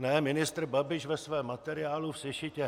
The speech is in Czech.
Ne, ministr Babiš ve svém materiálu v sešitě